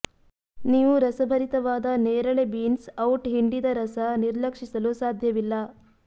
ನೀವು ರಸಭರಿತವಾದ ನೇರಳೆ ಬೀನ್ಸ್ ಔಟ್ ಹಿಂಡಿದ ರಸ ನಿರ್ಲಕ್ಷಿಸಲು ಸಾಧ್ಯವಿಲ್ಲ